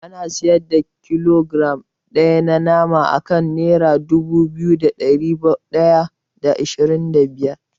An siyar da kilogiram ɗaya na nama akan nera dubu biyu da ɗari ɗaya da ashirin da biyar.